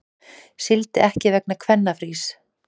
Sigldi ekki vegna kvennafrís